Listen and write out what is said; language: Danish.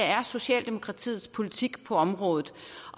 er socialdemokratiets politik på området